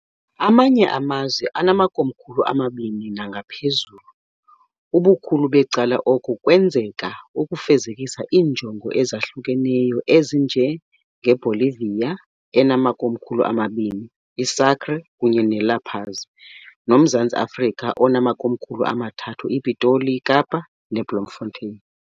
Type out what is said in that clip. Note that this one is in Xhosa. Amanye amazwe anamakomkhulu amabini nangaphezulu, ubukhulu becala oko kwenzeka ukufezekisa iinjongo ezahlukeneyo, ezinjengeBolivia, enamakomkhulu amabini, iSucre kunye neLa Paz, nomZantsi Afrika, enamakomkhulu amathathu, iPitoli, iKapa ne Blamfanteni.